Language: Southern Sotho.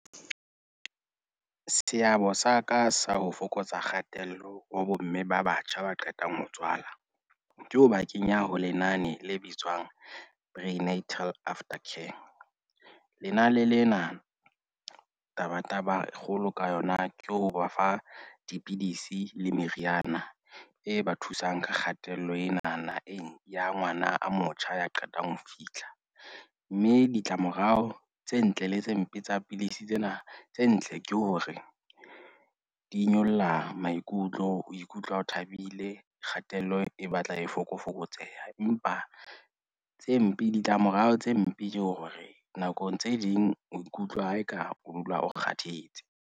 Seabo sa ka sa ho fokotsa kgatello ho bomme ba batjha ba qetang ho tswala ke ho ba kenya ho lenane le bitswang Braai Inetrial After kam lenane lena tabataba kgolo ka yona ke ho ba fa dipidisi le meriana e ba thusang ka kgatello enana ya ngwana a motjha ya qetang ho fihla. Mme ditlamorao tse ntle le tse mpe tsa pidisi tsena tse ntle ke hore di nyolla maikutlo. O ikutlwa o thabile, kgatello e batla e fokofokotseha, empa tse mpe ditlamorao tse mpe ke hore nakong tse ding o ikutlwa eka o dula o kgathetse.